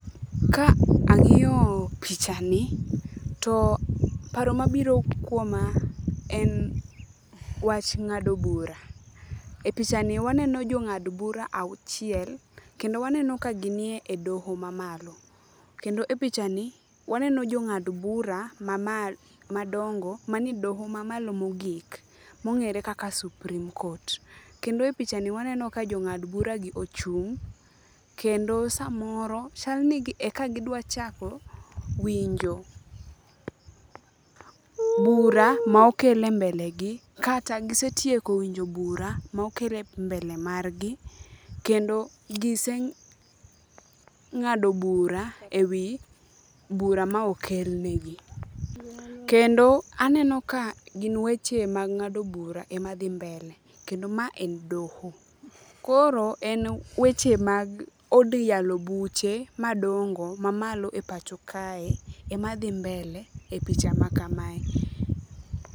Ka ang'iyo pichani, to apro mabiro kuoma en wach ng'ado bura. E pichani waneno jong'ad bura auchiel kendo waneno ka gin e doho mamalo. Kendo e pichani ,waneno jo ng'ad bura madongo mani e doho mamalo mogik mong'ere kaka supreme court. Kendo e pichani waneno ka jong'ad bura gi ochung'. Kendo samoro chalni eka gidwa chako winjo bura mokel e mbelegi, kata gisetieko winjo bura mokel e mbele margi. Kendo gise ng'ado bura e wi bura mokelnegi. Kendo aneno ka gin weche mag ng'ado bura ema dhi mbele. Kendo ma en doho. Koro en weche mag od yalo buche madongo mamalo e pacho kae ema dhi mbele,e picha ma kamae.